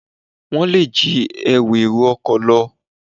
Wọ́n lè jí ẹrù èrò ọkọ̀ lọ.